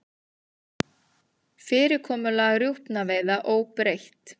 Fyrirkomulag rjúpnaveiða óbreytt